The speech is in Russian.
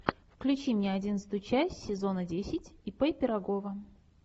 включи мне одиннадцатую часть сезона десять ип пирогова